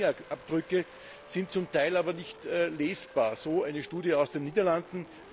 Diese Fingerabdrücke sind zum Teil aber nicht lesbar so eine Studie aus den Niederlanden.